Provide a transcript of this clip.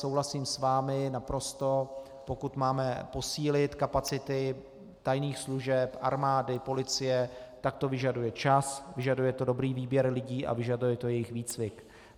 Souhlasím s vámi naprosto, pokud máme posílit kapacity tajných služeb, armády, policie, tak to vyžaduje čas, vyžaduje to dobrý výběr lidí a vyžaduje to jejich výcvik.